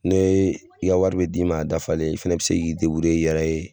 Ne i ka wari bi d'i ma a dafalen, i fɛnɛ bi se k'i i yɛrɛ ye